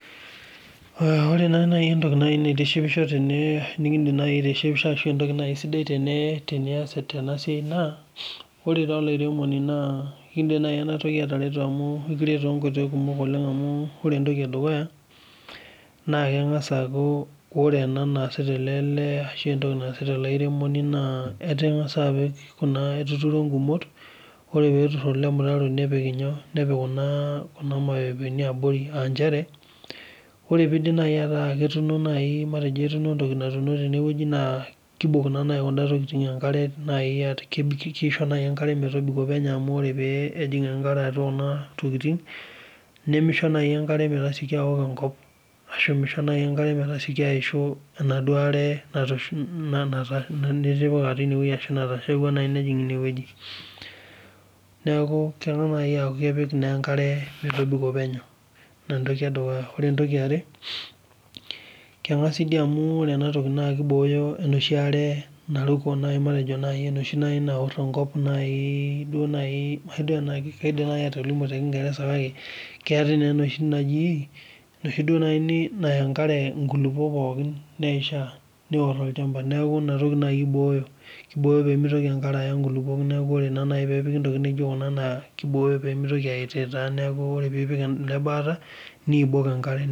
Ore entoki naitishipisho tene nikidim aitishipa arashu entoki sidai Tena siai amu ore era olairemoni naa ekidim ena atareto too nkoitoi kumok amu ore entoki edukuya ore entoki naasita ele airemoni naa etang'asa atur egumoto ore petur ele mtaro nepiki nyoo Kuna mepepeni abori aa njere ore pidip meeta etuno naa kibok Kuna tokitin enkare naaji kisho enkare metobiko penyo amu oree pee ejig enkare atua Kuna tokitin nimisho naaji enkare metasioki awok enkop ashu misho metasioki ayishu enaduo are nitipika arashu nateshepua nejig ene wueji neeku kelo apik enkare metobiko penyo ena entoki edukuya ore entoki yaare ore ena toki naa kibooyo enoshi are naruko enoshi are naor enkop matejo naaji duo keetae enoshi Naya enkare nkulupuok pookin niyishaaneor olchamba neeku ena toki naaji eboyo kibooyo pemitoki enkare Aya nkulupuok neeku ore naaji pee epiki ntokitin naijio Kuna naa kibooyo pee mitoki ayiyiyitaa ore pipik ele baata nibok enkare